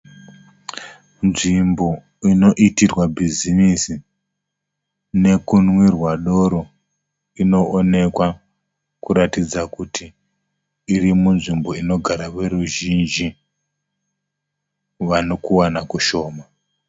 Nzvimbo inoitirwa bhizimisi nekunwirwa doro inoonekwa kuratidza kuti iri munzvimbo inogara veruzhinji vane kuwana kushoma.